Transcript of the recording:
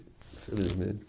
Infelizmente.